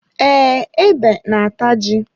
Ee, ebe na-ata ji.